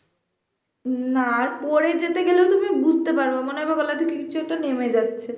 না পড়ে যেতে গেলেও তুমি বুঝতে পার মনে হবে গলা থেকে কিছু একটা নেমে যাচ্ছে